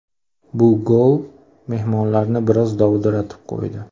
Bu gol mehmonlarni biroz dovdiratib qo‘ydi.